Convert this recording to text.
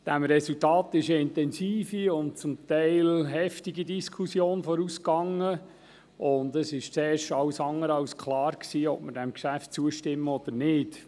Diesem Resultat ging eine intensive und teilweise heftige Diskussion voraus, und es war zuerst alles andere als klar, ob wir diesem Geschäft zustimmen oder nicht.